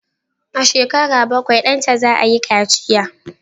A shekara bakwai, danta za a yi kaciya